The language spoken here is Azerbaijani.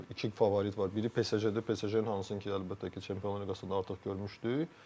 Məncə iki favorit var, biri PSJ-dir, PSJ-nin hansını ki, əlbəttə ki, Çempionlar Liqasında artıq görmüşdük.